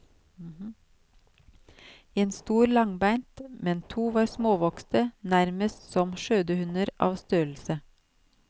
En stor langbeint, men to var småvokste, nærmest som skjødehunder av størrelse.